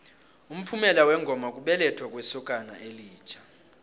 umphumela wengoma kubelethwa kwesokana elitjha